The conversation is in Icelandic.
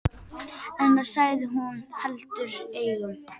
En það sagði hún heldur engum.